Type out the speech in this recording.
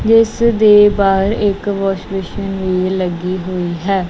ਇਸ ਦੇ ਬਾਹਰ ਇੱਕ ਵਾਸ਼ ਬੇਸਿਨ ਵੀ ਲੱਗੀ ਹੋਈ ਹੈ।